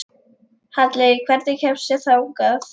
Halley, hvernig kemst ég þangað?